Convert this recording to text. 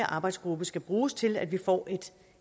arbejdsgruppe skal bruges til at vi får